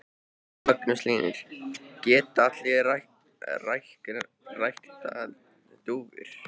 Magnús Hlynur: Geta allir ræktað dúfur?